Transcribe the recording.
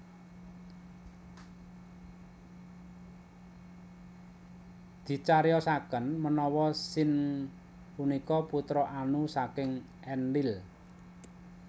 Dicariyosaken menawa Sin punika putra Anu saking Enlil